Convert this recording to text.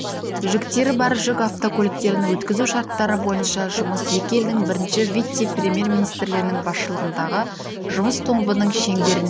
жүктері бар жүк автокөліктерін өткізу шарттары бойынша жұмыс екі елдің бірінші вице-премьер-министрлерінің басшылығындағы жұмыс тобының шеңберінде